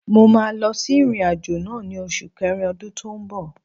Mo máa lọ sí ìrìn-àjò náà ni osu kerin ọdún tó ń bọ̀.